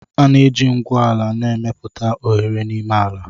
A na-eji ngwu ala na-emepụta oghere n'ime ala